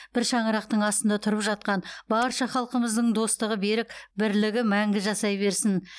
бір шаңырақтың астында тұрып жатқан барша халқымыздың достығы берік бірлігі мәңгі жасай берсін